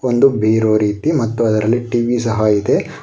ಒಂದು ಬೀರು ರೀತಿ ಮತ್ತು ಅದರಲ್ಲಿ ಟಿ_ವಿ ಸಹ ಇದೆ.